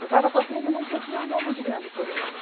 Eu estava sofrendo muito porque eu tinha um amor muito grande por ele.